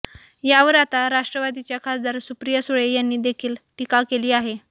यावर आता राष्ट्रवादीच्या खासदार सुप्रिया सुळे यांनी देखील टीका केली आहे